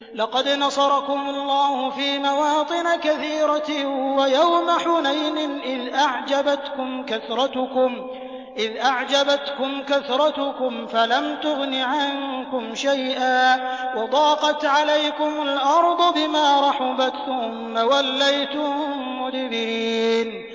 لَقَدْ نَصَرَكُمُ اللَّهُ فِي مَوَاطِنَ كَثِيرَةٍ ۙ وَيَوْمَ حُنَيْنٍ ۙ إِذْ أَعْجَبَتْكُمْ كَثْرَتُكُمْ فَلَمْ تُغْنِ عَنكُمْ شَيْئًا وَضَاقَتْ عَلَيْكُمُ الْأَرْضُ بِمَا رَحُبَتْ ثُمَّ وَلَّيْتُم مُّدْبِرِينَ